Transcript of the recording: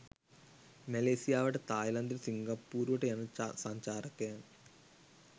මැලේසියාවට තායිලන්තයට සිංගපුපූරුවට යන සංචාරකයන්